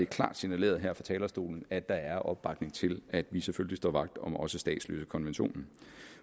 klart signaleret her fra talerstolen at der er opbakning til at vi selvfølgelig står vagt om også statsløsekonventionen